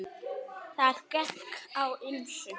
Þar gekk á ýmsu.